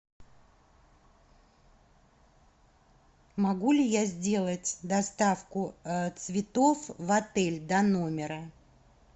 могу ли я сделать доставку цветов в отель до номера